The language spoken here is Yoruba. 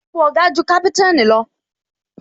Ipò Oga ju kaputanni lọ